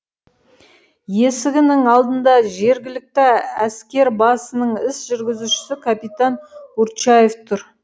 есігінің алдында жергілікті әскербасының іс жүргізушісі капитан урчаев тұр